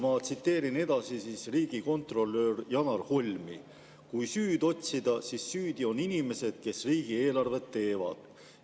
Ma tsiteerin riigikontrolör Janar Holmi: "Kui süüd otsida, siis süüdi on inimesed, kes riigieelarvet teevad.